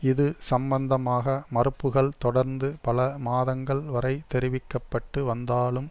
இது சம்மந்தமாக மறுப்புகள் தொடர்ந்து பல மாதங்கள் வரை தெரிவிக்கப்பட்டு வந்தாலும்